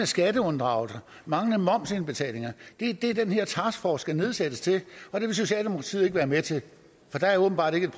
skatteunddragelse manglende momsindbetalinger det er det den her taskforce skal nedsættes til og det vil socialdemokratiet ikke være med til for der er åbenbart ikke